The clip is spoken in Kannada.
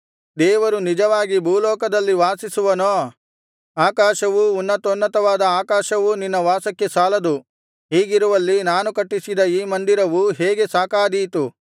ದೇವರು ನಿಜವಾಗಿ ಭೂಲೋಕದಲ್ಲಿ ವಾಸಿಸುವನೋ ಆಕಾಶವೂ ಉನ್ನತೋನ್ನತವಾದ ಆಕಾಶವೂ ನಿನ್ನ ವಾಸಕ್ಕೆ ಸಾಲದು ಹೀಗಿರುವಲ್ಲಿ ನಾನು ಕಟ್ಟಿಸಿದ ಈ ಮಂದಿರವು ಹೇಗೆ ಸಾಕಾದೀತು